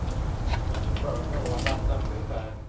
и типа ну она прям крутая